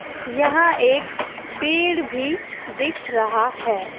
यहा एक पेड़ भी दिख रहा है।